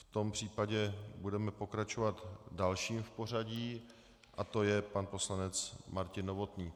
V tom případě budeme pokračovat dalším v pořadí a to je pan poslanec Martin Novotný.